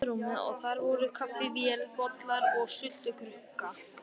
Lítið borð stóð við rúmið og þar voru kaffivél, bollar og sultukrukka.